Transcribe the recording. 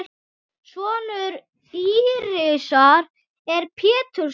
Sonur Írisar er Pétur Snær.